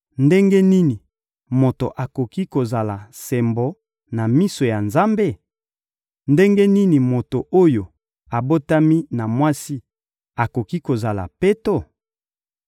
Ndenge nini moto akoki kozala sembo na miso ya Nzambe? Ndenge nini moto oyo abotami na mwasi akoki kozala peto?